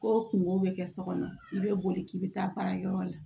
Ko kungo bɛ kɛ so kɔnɔ i bɛ boli k'i bɛ taa baarakɛyɔrɔ la